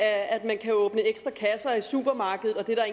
at man kan åbne ekstra kasser i supermarkedet og det er